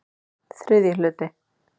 ÞRIðJI HLUTI